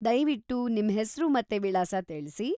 ದಯ್ವಿಟ್ಟು ನಿಮ್ಹೆಸ್ರು ಮತ್ತೆ ವಿಳಾಸ ತಿಳ್ಸಿ.